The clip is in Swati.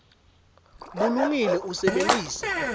bulungile usebenitse